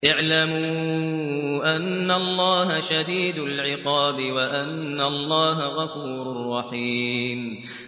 اعْلَمُوا أَنَّ اللَّهَ شَدِيدُ الْعِقَابِ وَأَنَّ اللَّهَ غَفُورٌ رَّحِيمٌ